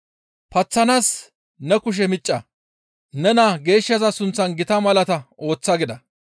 Paththanaas ne kushe micca. Ne naa geeshshaza sunththan gita malaata ooththa» gida.